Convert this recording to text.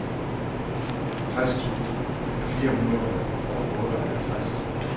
tres tusind fire hundrede og otteoghalvtreds